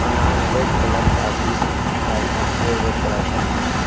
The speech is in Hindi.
अनार रेड कलर का भी है। और सेव रेड कलर का भी है।